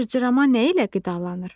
Cırcırama nə ilə qidalanır?